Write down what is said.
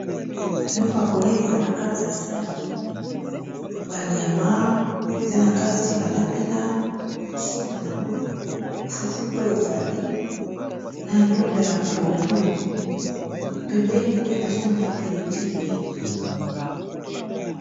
Biloko ya kolia eza na kati ya sani. Ba nyama eza na kati balambi na soupu nango, fufu pe ezali na ndunda ya pondu, pembeni pe nazo mona pili pili.